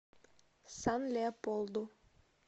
сан леополду